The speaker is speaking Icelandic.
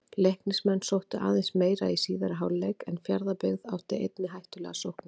Leiknismenn sóttu aðeins meira í síðari hálfleik en Fjarðabyggð átti einnig hættulegar sóknir.